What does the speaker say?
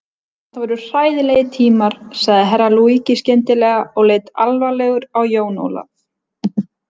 Þetta voru hræðilegir tímar, sagði Herra Luigi skyndilega og leit alvarlegur á Jón Ólaf.